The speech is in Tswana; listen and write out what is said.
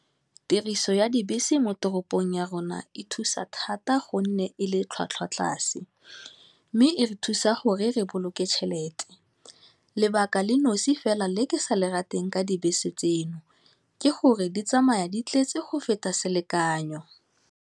Tiriso ya dibese mo toropong ya rona e thusa thata gonne e le tlhwatlhwa tlase, mme e re thusa gore re boloke tšhelete, lebaka le nosi fela le ke sa le rateng ka dibese tseno, ke gore di tsamaya di tletse go feta selekanyo.